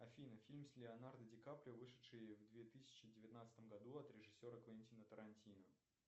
афина фильм с леонардо ди каприо вышедший в две тысячи девятнадцатом году от режиссера квентина тарантино